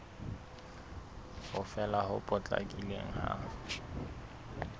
ho fela ho potlakileng ha